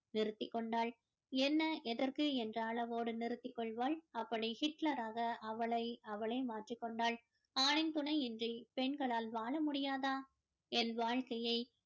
நிறுத்திக் கொண்டாள் என்ன எதற்கு என்ற அளவோடு நிறுத்திக் கொள்வாள் அப்படி ஹிட்லராக அவளை அவளே மாற்றிக் கொண்டாள் ஆணின் துணி இன்றி பெண்களால் வாழ முடியாதா என் வாழ்க்கையை